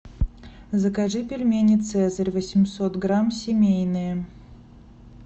закажи пельмени цезарь восемьсот грамм семейные